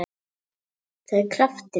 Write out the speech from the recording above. Það er kraftur í honum.